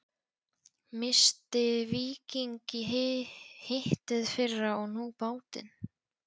Missti Víking í hitteðfyrra og nú bátinn.